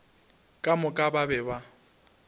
ka moka ba be ba